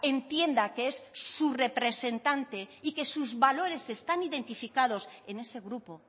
entienda que es su representante y que sus valores están identificados en ese grupo